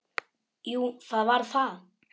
Jú, það var það.